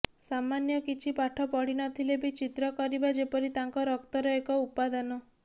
ସାମାନ୍ୟ କିଛି ପାଠ ପଢ଼ିନଥିଲେ ବି ଚିତ୍ର କରିବା ଯେପରି ତାଙ୍କ ରକ୍ତର ଏକ ଉପାଦାନ